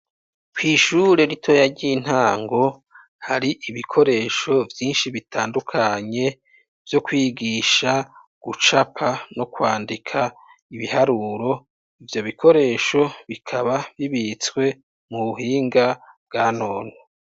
kw'ishure ritoya, ry'intango, hari ibikoresho vyinshi bitandukanye, vyo kwigisha gucapa no kwandika ibiharuro, ivyo bikoresho, bikaba bibitswe mu buhinga bwa none.